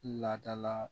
Ladala